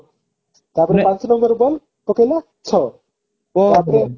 ତାପରେ ଆଠ number ball ପକେଇଲା ଛଅ ତାପରେ